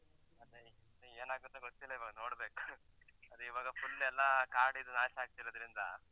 ಅದೇ ಇನ್ನು ಏನಾಗುತ್ತೋ ಗೊತ್ತಿಲ್ಲ ಇವಾಗ್ ನೋಡ್ಬೇಕು , ಅದೀವಾಗ full ಎಲ್ಲ ಕಾಡೆಲ್ಲ ನಾಶ ಆಗ್ತಿರೋದ್ರಿಂದ.